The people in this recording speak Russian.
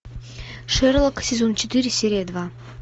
шерлок сезон четыре серия два